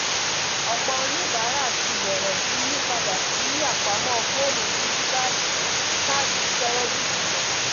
ọpọ oníbàárà ti bẹrẹ sí yí padà sí apamọ foonu díjíítàálì ju kaadi kẹrẹdíìtì lọ